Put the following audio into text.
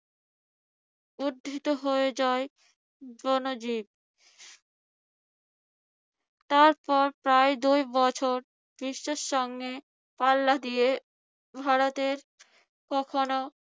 উদ্ধৃত হয়ে যায় জনজীবন। তারপর প্রায় দুই বছর বিশ্বের সঙ্গে পাল্লা দিয়ে ভারতের কখনো